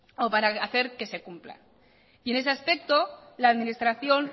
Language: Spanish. o para hacer que se cumpla en ese aspecto la administración